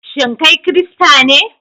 Shin kai Kirista ne?